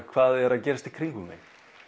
hvað er að gerast í kringum mig